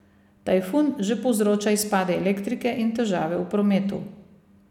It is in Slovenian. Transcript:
Tajfun že povzroča izpade elektrike in težave v prometu.